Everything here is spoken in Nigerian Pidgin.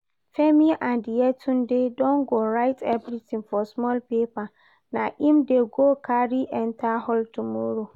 Femi and Yetunde don go write everything for small paper, na im dey go carry enter hall tomorrow